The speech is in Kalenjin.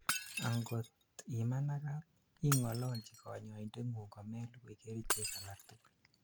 angot imanagat, ingololji kanyoindet ngung komelugui kerichek alaktugul